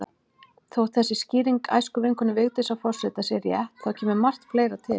Þótt þessi skýring æskuvinkonu Vigdísar forseta sé rétt, þá kemur margt fleira til.